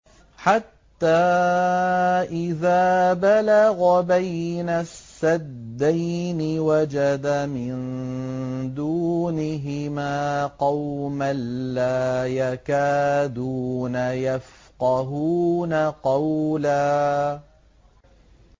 حَتَّىٰ إِذَا بَلَغَ بَيْنَ السَّدَّيْنِ وَجَدَ مِن دُونِهِمَا قَوْمًا لَّا يَكَادُونَ يَفْقَهُونَ قَوْلًا